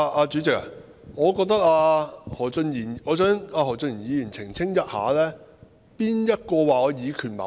主席，我想何俊賢議員澄清，誰說我以權謀私？